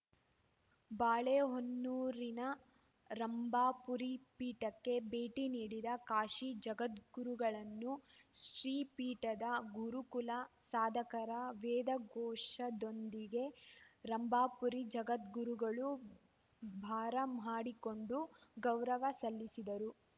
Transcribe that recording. ಬಾಳೆಹೊನ್ನೂರಿನ ರಂಭಾಪುರಿ ಪೀಠಕ್ಕೆ ಭೇಟಿ ನೀಡಿದ ಕಾಶಿ ಜಗದ್ಗುರುಗಳನ್ನು ಶ್ರೀ ಪೀಠದ ಗುರುಕುಲ ಸಾಧಕರ ವೇದಘೋಷದೊಂದಿಗೆ ರಂಭಾಪುರಿ ಜಗದ್ಗುರುಗಳು ಬಾರಮಾಡಿಕೊಂಡು ಗೌರವ ಸಲ್ಲಿಸಿದರು